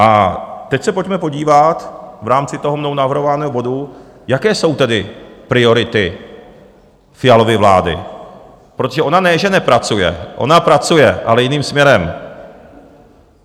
A teď se pojďme podívat v rámci toho mnou navrhovaného bodu, jaké jsou tedy priority Fialovy vlády, protože ona ne, že nepracuje, ona pracuje, ale jiným směrem.